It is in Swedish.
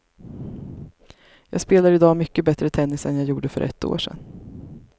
Jag spelar i dag mycket bättre tennis än jag gjorde för ett år sedan.